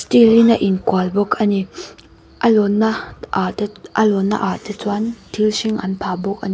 in a inkual bawk a ni a lawnna ah te a lawnna ah te chuan thil hring an phah bawk a ni.